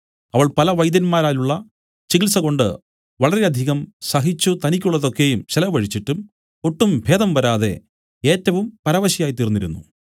അവൾ പല വൈദ്യന്മാരാലുള്ള ചികിത്സകൊണ്ട് വളരെയധികം സഹിച്ചു തനിക്കുള്ളതൊക്കെയും ചെലവഴിച്ചിട്ടും ഒട്ടും ഭേദം വരാതെ ഏറ്റവും പരവശയായി തീർന്നിരുന്നു